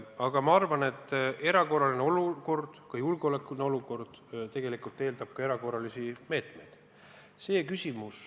Aga ma arvan, et erakorraline olukord, ka julgeolekuline olukord, eeldab ka erakorralisi meetmeid.